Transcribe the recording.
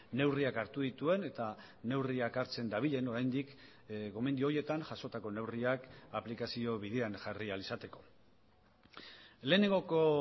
neurriak hartu dituen eta neurriak hartzen dabilen oraindik gomendio horietan jasotako neurriak aplikazio bidean jarri ahal izateko lehenengoko